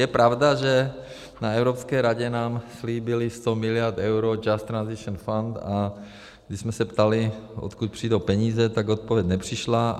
Je pravda, že na Evropské radě nám slíbili 100 miliard eur, Just Transition Fund, a když jsme se ptali, odkud přijdou peníze, tak odpověď nepřišla.